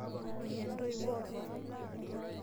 Menya entoiwoi openy.